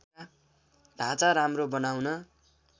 ढाँचा राम्रो बनाउन